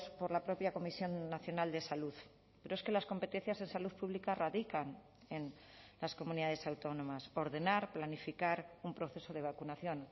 por la propia comisión nacional de salud pero es que las competencias en salud pública radican en las comunidades autónomas ordenar planificar un proceso de vacunación